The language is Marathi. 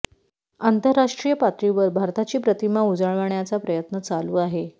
आंतरराष्ट्रीय पातळीवर भारताची प्रतिमा उजळवण्याचा प्रयत्न चालू आहे